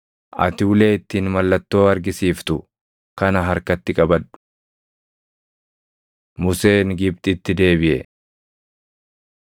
Ati ulee ittiin mallattoo argisiiftu kana harkatti qabadhu.” Museen Gibxitti Deebiʼe